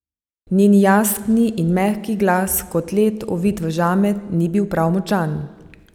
Njen jasni in mehki glas, kot led, ovit v žamet, ni bil prav močan.